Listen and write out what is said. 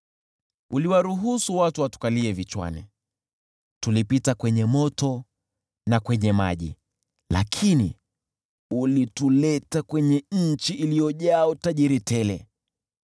Uliwaruhusu watu watukalie vichwani, tulipita kwenye moto na kwenye maji, lakini ulituleta kwenye nchi iliyojaa utajiri tele.